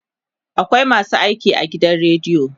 akwai masu aiki a gidan radio